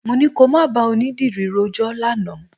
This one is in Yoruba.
Mo ní kò má bá onídìrí rojọ́ lánàá.